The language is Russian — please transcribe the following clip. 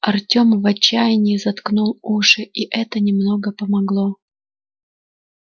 артём в отчаянии заткнул уши и это немного помогло